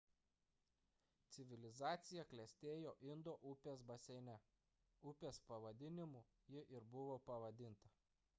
civilizacija klestėjo indo upės baseine upės pavadinimu ji ir buvo pavadinta